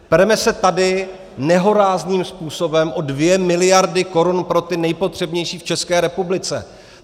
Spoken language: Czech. Pereme se tady nehorázným způsobem o dvě miliardy korun pro ty nejpotřebnější v České republice.